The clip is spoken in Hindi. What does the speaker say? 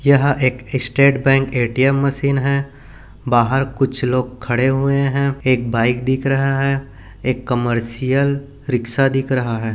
यह एक स्टेट बैंक ए_टी_एम मशीन है बाहर कुछ लोग खड़े हुए हैं एक बाइक दिख रहा है एक कमर्शियल रिक्शा दिख रहा है।